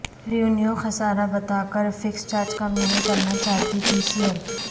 revenue خسارہ بتاکر fix charge کم نہیں کرنا چاہتا پی سی ایل